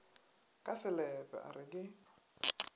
ka selepe a re ke